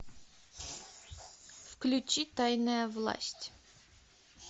включи тайная власть